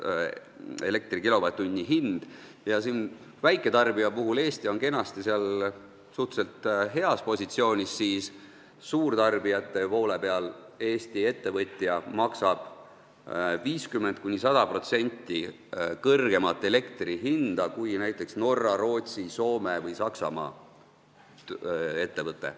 Kui väiketarbija puhul on Eesti kenasti suhteliselt heas positsioonis, siis suurtarbijate poole peal maksab Eesti ettevõte 50–100% kõrgema hinnaga elektri eest kui näiteks Norra, Rootsi, Soome või Saksamaa ettevõte.